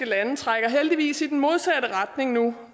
lande trækker heldigvis i den modsatte retning nu